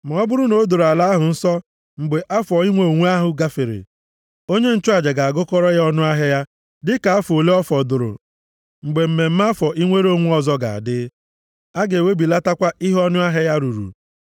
Ma ọ bụrụ na o doro ala ahụ nsọ mgbe afọ inwe onwe ahụ gafere, onye nchụaja ga-agụkọrọ ya ọnụahịa ya dịka afọ ole ọ fọdụrụ mgbe mmemme afọ inwere onwe ọzọ ga-adị. A ga-ewebilatakwa ihe ọnụahịa ya ruru.